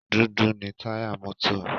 Dúdú ni táyà mọ́tò.